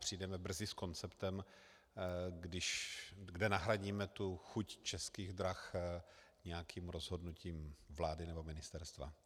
Přijdeme brzy s konceptem, kde nahradíme tu chuť Českých drah nějakým rozhodnutím vlády nebo ministerstva.